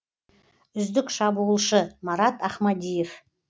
үздік шабуылшы марат ахмадиев